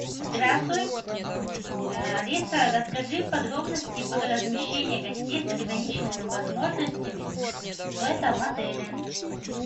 здравствуй алиса расскажи подробности про размещение гостей с ограниченными возможностями в этом отеле